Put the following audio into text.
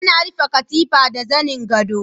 Ana rufe katifa da zanen godo.